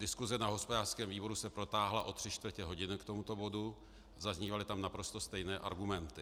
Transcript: Diskuse na hospodářském výboru se protáhla o tři čtvrti hodiny k tomuto bodu, zaznívaly tam naprosto stejné argumenty.